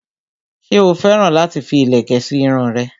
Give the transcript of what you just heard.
ṣé ó féràn láti fi ìlẹ̀kẹ̀ sí irun rẹ̀?